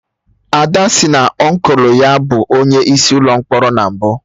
Ada sị na Ọnkụlụ ya bụ onye isi Ụlọ mkpọrọ na mbụ